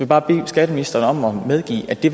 bare bede skatteministeren medgive at det